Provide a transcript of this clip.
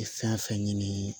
Fɛn fɛn ɲini